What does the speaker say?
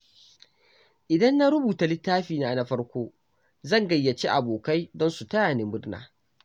Idan na rubuta littafina na farko, zan gayyaci abokai don su tayani murna.